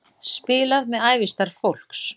Spilað með ævistarf fólks